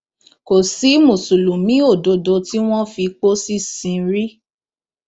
kò sí mùsùlùmí òdodo tí wọn fi pósí sìn rí